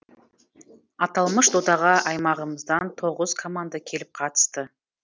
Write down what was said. аталмыш додаға аймағымыздан тоғыз команда келіп қатысты